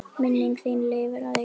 Minning þín lifir að eilífu.